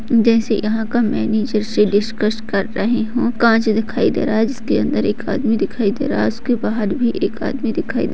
जैसे यहाँ का मैनेजर से डिस्कस कर रहे हो कांच दिखाई दे रहा है जिसके अंदर एक आदमी दिखाई दे रहा है उसके बाहर भी एक आदमी दिखाई दे --